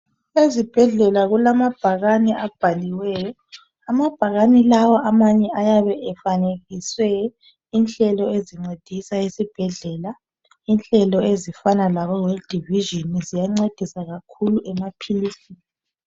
Ezibhedlela kulamabhakane abhaliweyo amabhakani lawa amanye ayabe efanekiswe inhlelo ezincedisa esibhedlela inhlelo ezifana labo world division ziyancedisa kakhulu emaphilisini